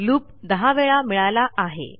loop दहा वेळा मिळाला आहे